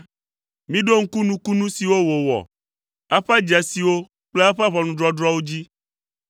Miɖo ŋku nukunu siwo wòwɔ, eƒe dzesiwo kple eƒe ʋɔnudɔdrɔ̃wo dzi.